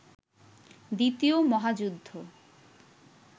দ্বিতীয় মহাযুদ্ধ